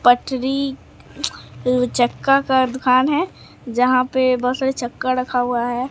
पटरी दुचक्का का दुकान है जहां पे बहोत सारे चक्का रखा हुआ है।